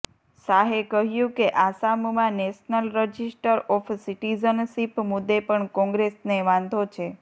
શાહે કહ્યું કે આસામમાં નેશનલ રજિસ્ટર ઓફ સિટિઝનશિપ મુદ્દે પણ કોંગ્રેસને વાંધો છે